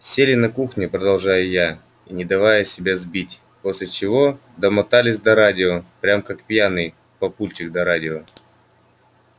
сели на кухне продолжаю я не давая себя сбить после чего домотались до радио прям как пьяный папульчик до радио